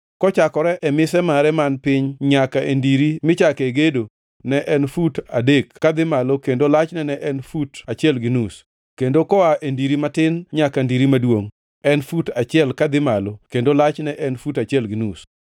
kochakore e mise mare man piny nyaka e ndiri michake gedo ne en fut adek kadhi malo kendo lachne en fut achiel gi nus, kendo koa e ndiri matin nyaka ndiri maduongʼ en fut achiel kadhi malo kendo lachne en fut achiel gi nus.